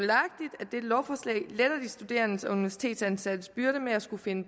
dette lovforslag letter de studerendes og universitetsansattes byrder med at skulle finde